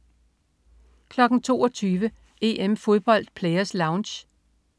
22.00 EM-Fodbold: Players Lounge